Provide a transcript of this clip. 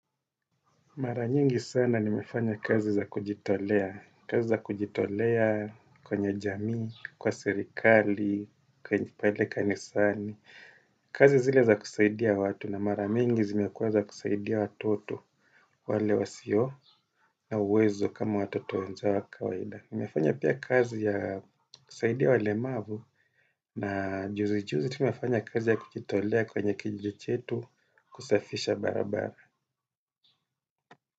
Mara nyingi sana nimefanya kazi za kujitolea. Kazi za kujitolea kwenye jamii, kwa serikali, kwenye pale kanisani. Kazi zile za kusaidia watu na mara mingi zimekuwa za kusaidia watoto wale wasio na uwezo kama watoto wenzao wa kawaida. Nimefanya pia kazi ya kusaidia walemavu na juzi juzi tu nimefanya kazi ya kujitolea kwenye kijiji chetu kusafisha barabara.